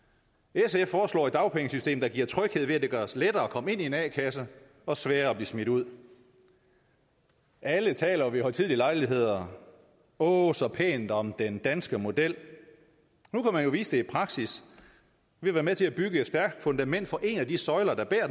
sf foreslår et dagpengesystem der giver tryghed ved at det gøres lettere at komme ind i en a kasse og sværere at blive smidt ud alle taler ved højtidelige lejligheder åh så pænt om den danske model nu kan man jo vise det i praksis ved at være med til at bygge et stærkt fundament for en af de søjler der bærer